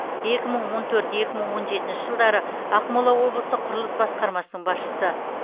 екі мың он төрт екі мың он жетінші жылдары ақмола облысы құрылыс басқармасының басшысы